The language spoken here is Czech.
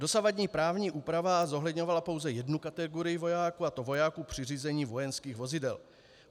Dosavadní právní úprava zohledňovala pouze jednu kategorii vojáků, a to vojáků při řízení vojenských vozidel.